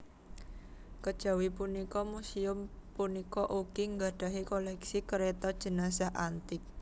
Kejawi punika muséum punika ugi nggadhahi koléksi kereta jenazah antik